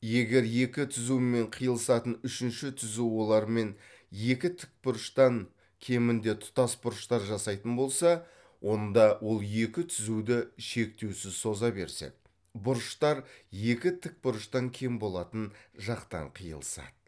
егер екі түзумен қиылысатын үшінші түзу олармен екі тікбұрыштан кемінде тұтас бұрыштар жасайтын болса онда ол екі түзуді шектеусіз соза берсек бұрыштар екі тік бұрыштан кем болатын жақтан қиылысады